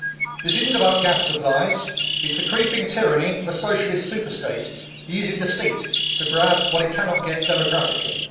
This is not about gas supplies. It is the creeping tyranny of a Socialist superstate using deceit to grab what it cannot get democratically.